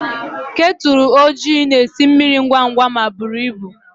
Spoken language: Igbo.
Kettle ojii na-esi mmiri ngwa ngwa ma buru ibu.